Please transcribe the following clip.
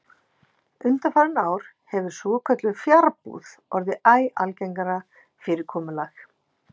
Undanfarin ár hefur svokölluð fjarbúð orðið æ algengara fyrirkomulag.